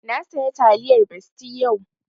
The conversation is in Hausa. Na saya taliyar besti yau